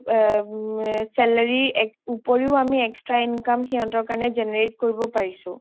salary উপৰিও আমি extra income হিহঁতৰ কাৰণে generate কৰিব পেৰিচু